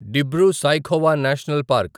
Dibru Saikhowa national park